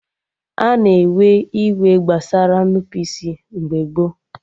Ana ewe iwe gbasara Nnupụisi mgbe gboo